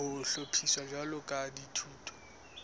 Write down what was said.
ho hlophiswa jwalo ka dithuto